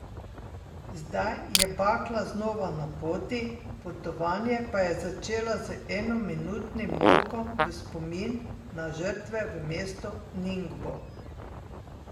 Zdaj je bakla znova na poti, potovanje pa je začela z enominutnim molkom v spomin na žrtve v mestu Ningbo.